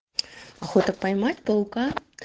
охота поймать паука